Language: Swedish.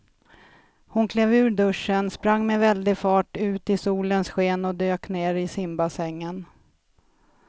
Hon klev ur duschen, sprang med väldig fart ut i solens sken och dök ner i simbassängen.